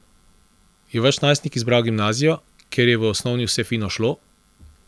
Je vaš najstnik izbral gimnazijo, ker je v osnovni vse fino šlo?